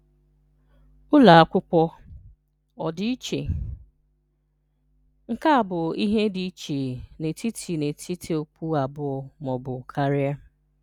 Ụlọ Akwụkwọ: Ọdịiche: Nke a bụ ihe dị iche n’etiti n’etiti okwu abụọ ma ọ bụ karị.